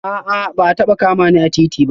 A'a ba a taba kama ni a titi ba